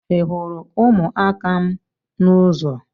Ịhụrụ umuaka m n’ụzọ?